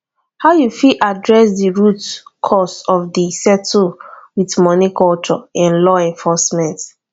how you fit adress di root cause of di settle with money culture in law enforcement